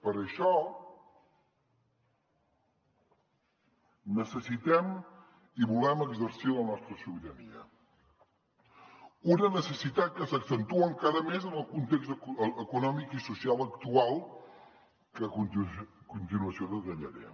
per això necessitem i volem exercir la nostra sobirania una necessitat que s’accentua encara més en el context econòmic i social actual que a continuació detallaré